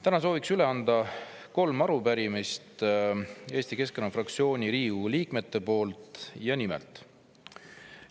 Täna soovin üle anda kolm arupärimist Eesti Keskerakonna fraktsiooni Riigikogu liikmete nimel.